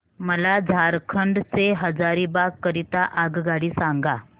मला झारखंड से हजारीबाग करीता आगगाडी सांगा